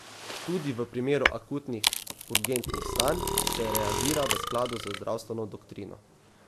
Tudi v primeru akutnih, urgentnih stanj se reagira v skladu z zdravstveno doktrino.